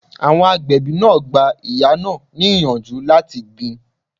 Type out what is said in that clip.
Àwọn agbẹ̀bí náà gba ìyá náà ni ìyànjú láti gbin